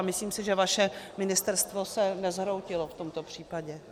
A myslím si, že vaše ministerstvo se nezhroutilo v tomto případě.